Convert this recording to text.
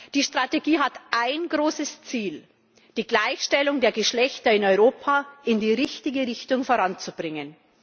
Die Strategie hat ein großes Ziel die Gleichstellung der Geschlechter in Europa in die richtige Richtung voranzubringen.